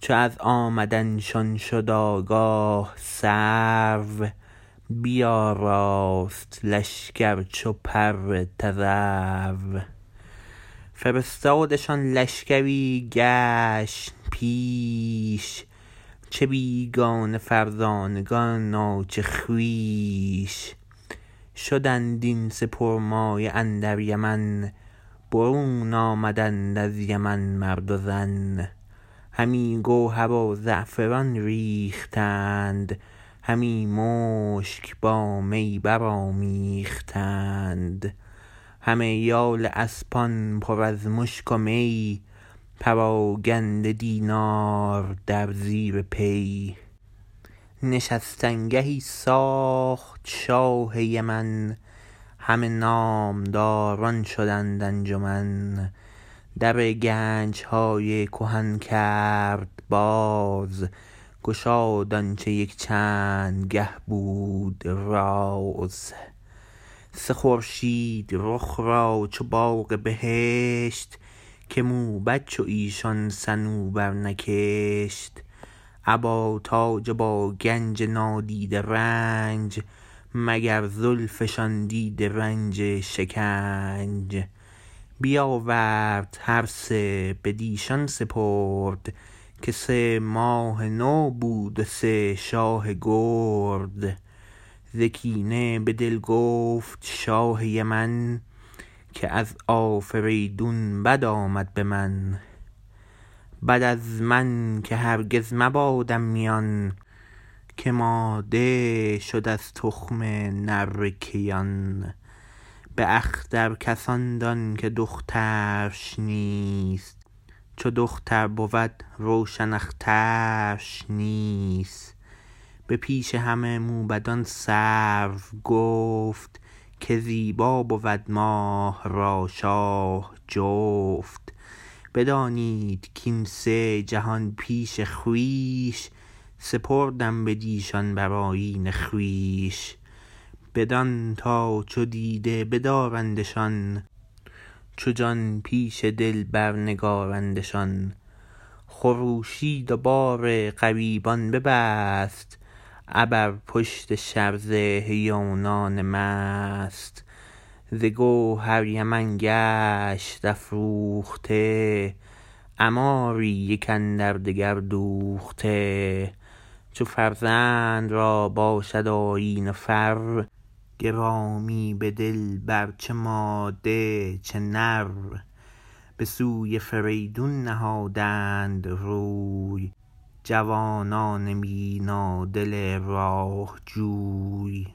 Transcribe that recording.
چو از آمدنشان شد آگاه سرو بیاراست لشکر چو پر تذرو فرستادشان لشکری گشن پیش چه بیگانه فرزانگان و چه خویش شدند این سه پرمایه اندر یمن برون آمدند از یمن مرد و زن همی گوهر و زعفران ریختند همی مشک با می برآمیختند همه یال اسپان پر از مشک و می پراگنده دینار در زیر پی نشستن گهی ساخت شاه یمن همه نامداران شدند انجمن در گنجهای کهن کرد باز گشاد آنچه یک چند گه بود راز سه خورشید رخ را چو باغ بهشت که موبد چو ایشان صنوبر نکشت ابا تاج و با گنج نادیده رنج مگر زلفشان دیده رنج شکنج بیاورد هر سه بدیشان سپرد که سه ماه نو بود و سه شاه گرد ز کینه به دل گفت شاه یمن که از آفریدون بد آمد به من بد از من که هرگز مبادم میان که ماده شد از تخم نره کیان به اختر کس آن دان که دخترش نیست چو دختر بود روشن اخترش نیست به پیش همه موبدان سرو گفت که زیبا بود ماه را شاه جفت بدانید کین سه جهان بین خویش سپردم بدیشان بر آیین خویش بدان تا چو دیده بدارندشان چو جان پیش دل بر نگارندشان خروشید و بار غریبان ببست ابر پشت شرزه هیونان مست ز گوهر یمن گشت افروخته عماری یک اندردگر دوخته چو فرزند را باشد آیین و فر گرامی به دل بر چه ماده چه نر به سوی فریدون نهادند روی جوانان بینادل راه جوی